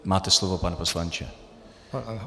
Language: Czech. Máte slovo, pane poslanče.